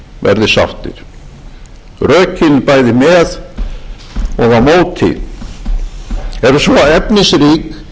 verði sáttir rökin bæði með og á móti eru svo efnisrík að sérhverjum ber að virða